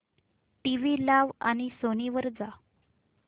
TV लाव आणि Sony वर जा